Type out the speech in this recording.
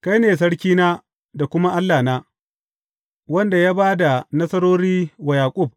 Kai ne Sarkina da kuma Allahna, wanda ya ba da nasarori wa Yaƙub.